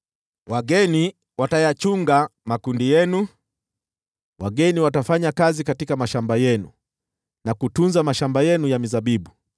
Wageni watayachunga makundi yenu, wageni watafanya kazi katika mashamba yenu, na kutunza mashamba yenu ya mizabibu.